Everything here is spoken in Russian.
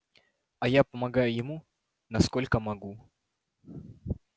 а я помогаю ему насколько могу